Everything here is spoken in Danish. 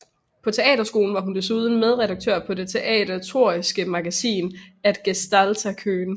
På teaterskolen var hun desuden medredaktør på det teaterteoretiske magasin Att gestalta kön